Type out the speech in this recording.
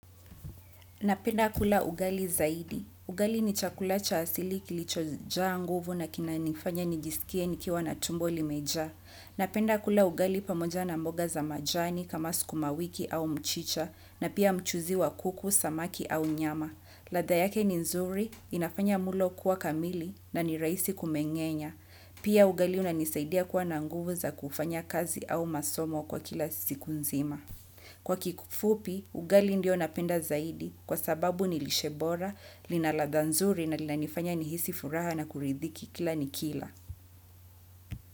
Napenda kula ugali zaidi. Ugali ni chakula cha asili kilichohja nguvu na kina nifanya nijisikie nikiwa na tumbo limeja. Napenda kula ugali pamoja na mboga za majani kama sukuma wiki au mchicha na pia mchuzi wa kuku, samaki au nyama. Ladha yake ni nzuri, inafanya mlo kuwa kamili na ni rahisi kumengenya. Pia ugali unanisaidia kuwa na nguvu za kufanya kazi au masomo kwa kila siku nzima. Kwa kikufupi, ugali ndio napenda zaidi kwa sababu nilishebora, lina ladha nzuri na lina nifanya nihisi furaha na kuridhiki kila nikila.